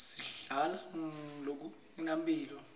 singadla lokungenampilo